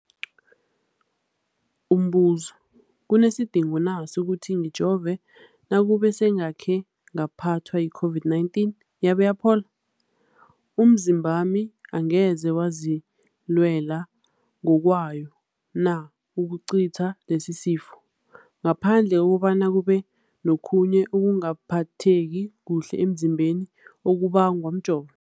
Umbuzo, kunesidingo na sokuthi ngijove nakube sengakhe ngaphathwa yi-COVID-19 yabe yaphola? Umzimbami angeze wazilwela ngokwawo na ukucitha lesisifo, ngaphandle kobana kube nokhunye ukungaphatheki kuhle emzimbeni okubangwa mjovo?